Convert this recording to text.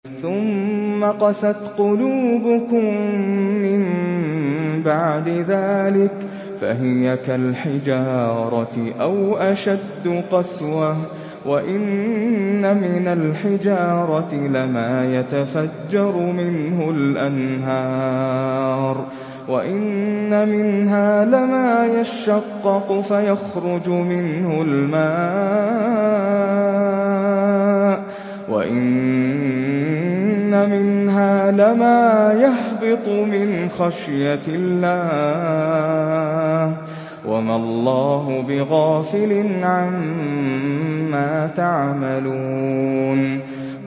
ثُمَّ قَسَتْ قُلُوبُكُم مِّن بَعْدِ ذَٰلِكَ فَهِيَ كَالْحِجَارَةِ أَوْ أَشَدُّ قَسْوَةً ۚ وَإِنَّ مِنَ الْحِجَارَةِ لَمَا يَتَفَجَّرُ مِنْهُ الْأَنْهَارُ ۚ وَإِنَّ مِنْهَا لَمَا يَشَّقَّقُ فَيَخْرُجُ مِنْهُ الْمَاءُ ۚ وَإِنَّ مِنْهَا لَمَا يَهْبِطُ مِنْ خَشْيَةِ اللَّهِ ۗ وَمَا اللَّهُ بِغَافِلٍ عَمَّا تَعْمَلُونَ